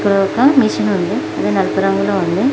ఇక్కడ ఒక మెషిన్ ఉంది అది నలుపు రంగులో ఉంది.